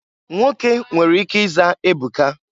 Nwoke nwere ike ịza Ebuka.